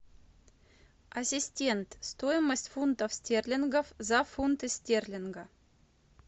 ассистент стоимость фунтов стерлингов за фунты стерлинга